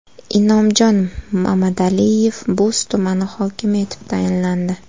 Inomjon Mamadaliyev Bo‘z tumani hokimi etib tayinlandi.